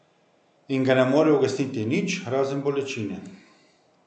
In ga ne more ugasniti nič, razen bolečine?